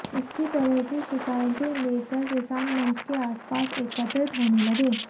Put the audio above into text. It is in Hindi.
इसी तरह की शिकायतें लेकर किसान मंच के आसपास एकत्रित होने लगे